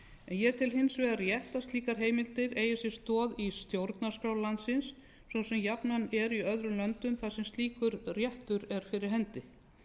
ég tel hins vegar rétt að slíkar heimildir eigi sér stoð í stjórnarskrá landsins svo sem jafnan er í öðrum löndum þar sem slíkur réttur er fyrir hendi